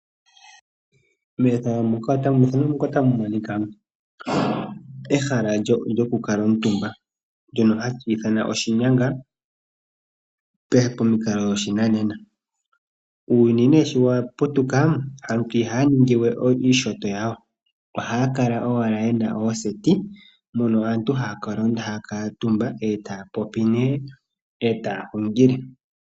Ehala lyokukala omutumba ohali ithanwa oshinyanga pomikalo dhoshinanena. Uuyuni ne shiwaputuka aantu ihaya ningi wee iishoto yawo ohaya kala owala yena ooseti mono aantu haya kaatumba ee taya popi nee ee taya hungile.